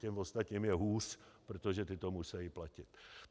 Těm ostatním je hůř, protože ti to musí platit.